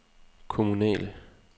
kommunale